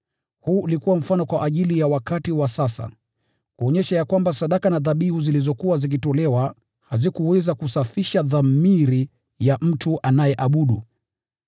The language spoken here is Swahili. Huu ulikuwa mfano kwa ajili ya wakati wa sasa, kuonyesha kwamba sadaka na dhabihu zilizokuwa zikitolewa hazikuweza kusafisha dhamiri ya mtu anayeabudu.